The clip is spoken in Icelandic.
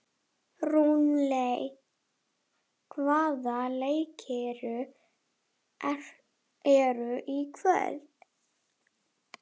Rúnel, hvaða leikir eru í kvöld?